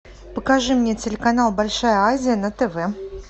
покажи мне телеканал большая азия на тв